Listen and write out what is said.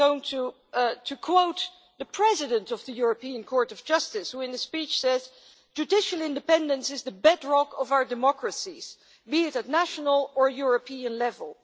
I am going to quote the President of the European Court of Justice, who in a speech said, Judicial independence is the bedrock of our democracies, be it at national or European level.